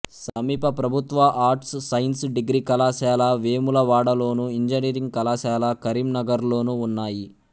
సమీప ప్రభుత్వ arts science degree కళాశాల వేములవాడలోను ఇంజనీరింగ్ కళాశాల కరీంనగర్లోనూ ఉన్నాయి